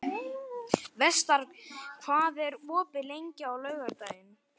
Vestar, hvað er opið lengi á laugardaginn?